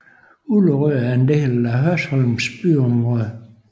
Ullerød er en del af Hørsholm byområde